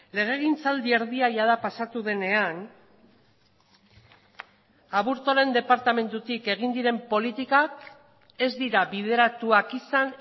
legegintzaldi erdia jada pasatu denean aburtoren departamentutik egin diren politikak ez dira bideratuak izan